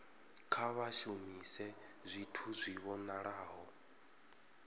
kha vha shumise zwithu zwi vhonalaho